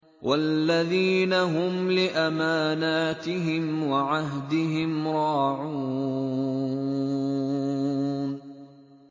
وَالَّذِينَ هُمْ لِأَمَانَاتِهِمْ وَعَهْدِهِمْ رَاعُونَ